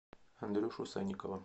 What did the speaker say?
андрюшу санникова